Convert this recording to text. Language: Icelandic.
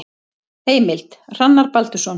Heimild: Hrannar Baldursson.